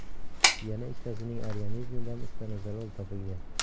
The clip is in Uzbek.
Yana ikkitasining organizmidan stanozolol topilgan.